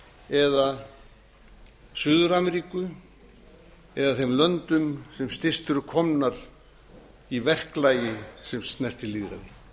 eða suður ameríku eða þeim löndum sem styst eru komnar í verklagi sem snertir lýðræði